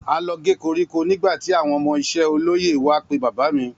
A lọ gé koríko nígbàtí àwọn ọmọ iṣẹ́ olóyè wá pe bàbá mí